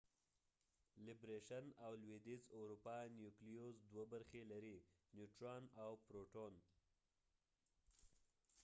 لیبریشن_او_ لویدیز_ اروپا نیوکلیوز دوه برخې لري - نیوټران او پروټون